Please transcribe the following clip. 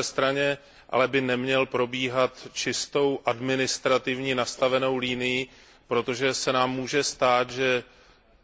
Na druhé straně by ale neměl probíhat čistou, administrativně nastavenou linií, protože se nám může stát, že